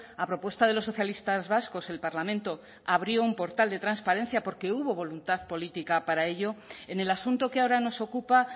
a propuesta de los socialistas vascos el parlamento abrió un portal de transparencia porque hubo voluntad política para ello en el asunto que ahora nos ocupa